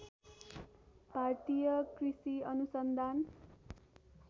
भारतीय कृषि अनुसन्धान